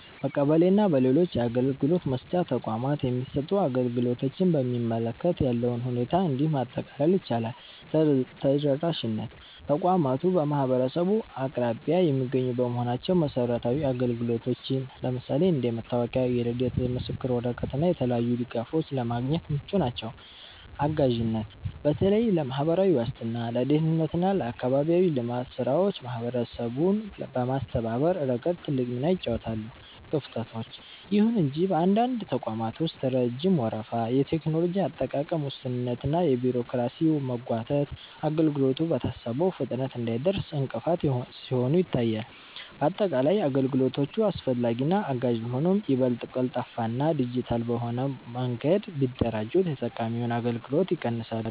በቀበሌ እና በሌሎች የአገልግሎት መስጫ ተቋማት የሚሰጡ አገልግሎቶችን በሚመለከት ያለውን ሁኔታ እንዲህ ማጠቃለል ይቻላል፦ ተደራሽነት፦ ተቋማቱ በማህበረሰቡ አቅራቢያ የሚገኙ በመሆናቸው መሰረታዊ አገልግሎቶችን (እንደ መታወቂያ፣ የልደት ምስክር ወረቀት እና የተለያዩ ድጋፎች) ለማግኘት ምቹ ናቸው። አጋዥነት፦ በተለይ ለማህበራዊ ዋስትና፣ ለደህንነት እና ለአካባቢያዊ ልማት ስራዎች ማህበረሰቡን በማስተባበር ረገድ ትልቅ ሚና ይጫወታሉ። ክፍተቶች፦ ይሁን እንጂ በአንዳንድ ተቋማት ውስጥ ረጅም ወረፋ፣ የቴክኖሎጂ አጠቃቀም ውስንነት እና የቢሮክራሲ መጓተት አገልግሎቱ በታሰበው ፍጥነት እንዳይደርስ እንቅፋት ሲሆኑ ይታያሉ። ባጠቃላይ፣ አገልግሎቶቹ አስፈላጊና አጋዥ ቢሆኑም፣ ይበልጥ ቀልጣፋና ዲጂታል በሆነ መንገድ ቢደራጁ የተጠቃሚውን እንግልት ይቀንሳሉ።